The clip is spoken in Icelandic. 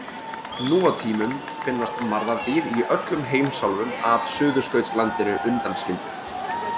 Nú á tímum finnast marðardýr í öllum heimsálfum að Suðurskautslandinu undanskildu.